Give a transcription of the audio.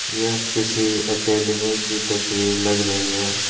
यह किसी एकेडमी की तस्वीर लग रही है।